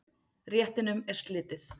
Réttinum er slitið.